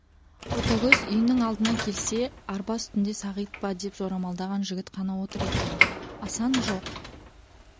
ботагөз үйінің алдына келсе арба үстінде сағит па деп жорамалдаған жігіт қана отыр екен асан жоқ